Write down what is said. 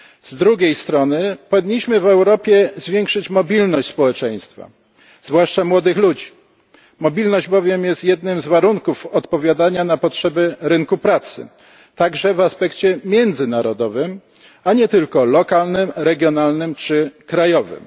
Z drugiej strony powinniśmy w Europie zwiększyć mobilność społeczeństwa, zwłaszcza młodych ludzi, mobilność bowiem jest jednym z warunków odpowiadania na potrzeby rynku pracy, także w aspekcie międzynarodowym, a nie tylko lokalnym, regionalnym czy krajowym.